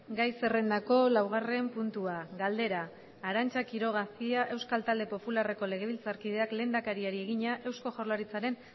gai zerrendako laugarren puntua galdera arantza quiroga cia euskal talde popularreko legebiltzarkideak lehendakariari egina eusko jaurlaritzaren